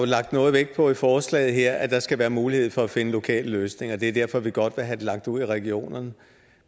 lagt noget vægt på i forslaget her at der skal være mulighed for at finde lokale løsninger det er derfor vi godt vil have det lagt ud i regionerne